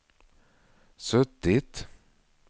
suttit